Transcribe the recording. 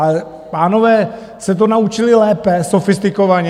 Ale pánové se to naučili lépe, sofistikovaně.